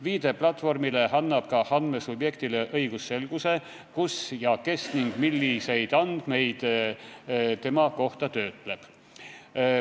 Viide platvormile annab ka andmesubjektile õigusselguse, kus ja kes ning milliseid teda puudutavaid andmeid töötleb.